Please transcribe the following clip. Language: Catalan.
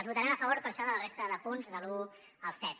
votarem a favor per això de la resta de punts de l’un al set